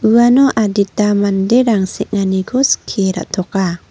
uano adita manderang seng·aniko skie ra·toka.